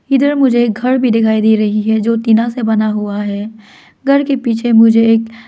इधर मुझे घर भी दिखाई दे रही है जो टीना से बना हुआ है घर के पीछे मुझे एक--